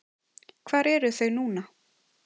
Hvar eru þau núna?